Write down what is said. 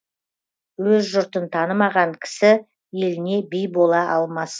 өз жұртын танымаған кісі еліне би бола алмас